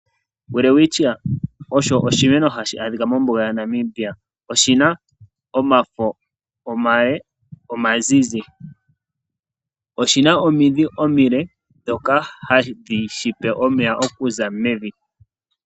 Welwitchia osho oshimeno hashi adhika mombuga moNAmibia. Oshi na omafo omale omazizi. Oshi na omidhi omile ndhoka hadhi shi pe omeya okuza mevi.